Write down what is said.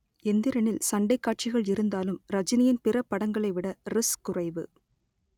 எந்திரனில் சண்டைக் காட்சிகள் இருந்தாலும் ரஜினியின் பிற படங்களைவிட ரிஸ்க் குறைவு